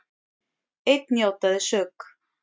Einn játaði sök